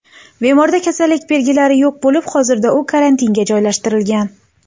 Bemorda kasallik belgilari yo‘q bo‘lib, hozirda u karantinga joylashtirilgan.